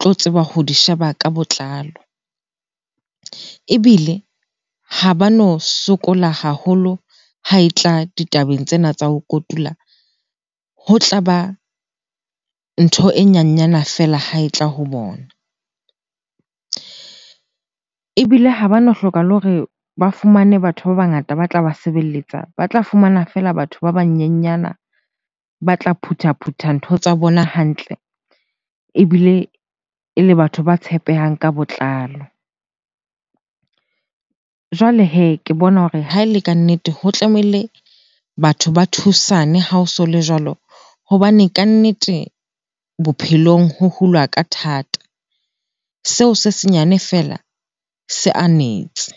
tlo tseba ho di sheba ka botlalo, ebile ha bano sokola haholo ha e tla ditabeng tsena tsa ho kotula. Ho tlaba ntho e nyanyana feela ha e tla ho bona. Ebile ha bano hloka le hore ba fumane batho ba bangata ba tlaba sebelletsa, ba tla fumana fela batho ba banyenyana ba tla phuthaphutha ntho tsa bona hantle ebile e le batho ba tshepehang ka botlalo. Jwale hee, ke bona hore ha e le kannete ho tlamehile batho ba thusane ha o so le jwalo hobane kannete bophelong ho hulwa ka thata. Seo se senyane fela se anetse.